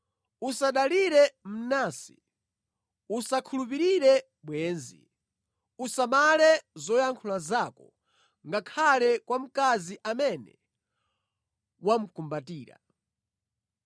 Usadalire mnansi; usakhulupirire bwenzi. Usamale zoyankhula zako ngakhale kwa mkazi amene wamukumbatira.